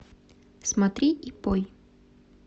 смотри и пой